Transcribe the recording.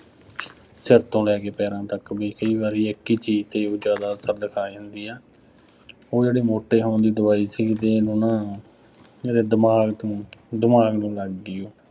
ਸਿਰ ਤੋਂਂ ਲੈ ਕੇ ਪੈਰਾਂ ਤੱਕ। ਬਈ, ਕਈ ਵਾਰੀ ਇੱਕ ਹੀ ਚੀਜ਼ ਤੇ ਵੀ ਜ਼ਿਆਦਾ ਅਸਰ ਦਿਖਾ ਜਾਂਦੀ ਆ, ਉਹ ਜਿਹੜੀ ਮੋਟੇ ਹੋਣ ਦੀ ਦਵਾਈ ਸੀਗੀ, ਫੇਰ ਇਹਨੂੰ ਨਾ ਇਹਦੇ ਦਿਮਾਗ ਤੋਂ ਦਿਮਾਗ ਨੂੰ ਲੱਗ ਗਈ।